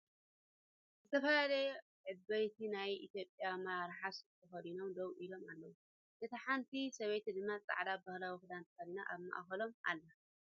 ዝተፈላለዩ ዕበይቲ ናይ ኢትዮጵያ ኣመራርሓ ሱፍ ተከዲኖም ደው ኢሎም ኣለው ። እታ ሓንቲ ሰበይቲ ድማ ፃዕዳ ባህላዊ ክዳን ተከዲና ኣብ ማእከሎም ኣላ ።